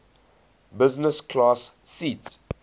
business class seat